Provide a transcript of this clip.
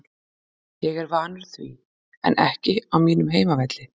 Ég er vanur því, en ekki á mínum heimavelli.